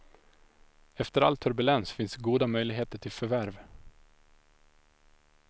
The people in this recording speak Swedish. Efter all turbulens finns goda möjligheter till förvärv.